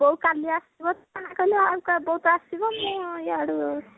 ବୋଉ କାଲି ଆସିବ କହିଲେ ଆଉ ବୋଉ ତ ଆସିବ ମୁଁ ଆଉ ଇଆଡୁ ଆଉ